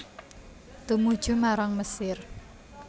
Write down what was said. Tumuju marang Mesir